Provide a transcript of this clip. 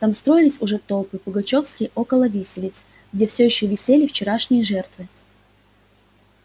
там строились уже толпы пугачёвские около виселицы где все ещё висели вчерашние жертвы